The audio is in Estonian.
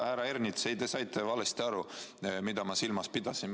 Härra Ernits, te saite valesti aru, mida ma silmas pidasin.